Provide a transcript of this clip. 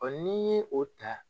n'i ye o ta